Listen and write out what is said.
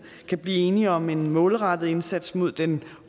kan blive enige om en målrettet indsats mod den